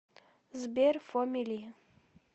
сбер фоми ли